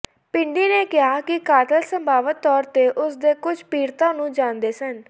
ਬਿੰਡੀ ਨੇ ਕਿਹਾ ਕਿ ਕਾਤਲ ਸੰਭਾਵਤ ਤੌਰ ਤੇ ਉਸ ਦੇ ਕੁਝ ਪੀੜਤਾਂ ਨੂੰ ਜਾਣਦੇ ਸਨ